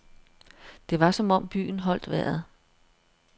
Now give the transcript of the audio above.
Det var som om byen holdt vejret.